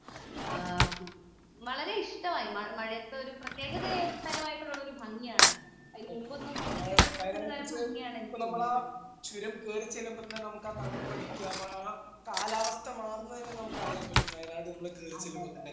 വളരെ ഇഷ്ടമായി മഴയത്ത് ഒരു പ്രത്യേക താരമായിട്ടുള്ള ഒരു ഭംഗിയാണ് അതിന് മുമ്പ് ഒന്നും കണ്ടിട്ടില്ലാത്ത ഒരു ഭംഗിയാണ് എനിക്ക് തോന്നിയത് അതേ അതേ